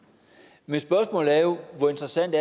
men spørgsmålet er jo hvor interessant